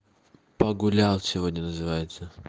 погулял сегодня называется